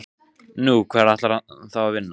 Nú, hvar ætlar hann þá að vinna?